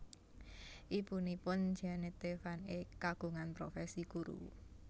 Ibunipun Jeannette van Eek kagungan profesi guru